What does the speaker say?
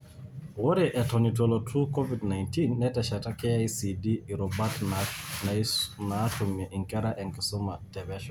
Ore eton ituelotu Covid 19, netesheta KICD irubat naatumie nkera enkisuma te pesho.